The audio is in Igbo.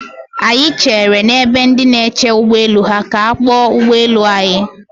Anyị chere n'ebe ndị na-eche ụgbọ elu ha ka a kpọọ ụgbọ elu anyị.